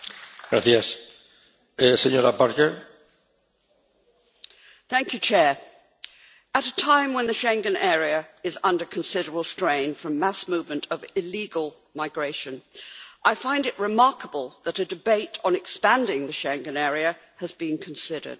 Mr President, at a time when the Schengen area is under considerable strain from mass movement of illegal migration, I find it remarkable that a debate on expanding the Schengen area has been considered.